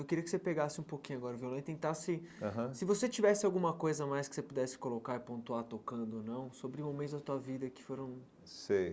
Eu queria que você pegasse um pouquinho agora o violão e tentasse, aham se você tivesse alguma coisa a mais que você pudesse colocar e pontuar tocando ou não, sobre momentos da tua vida que foram... Sei.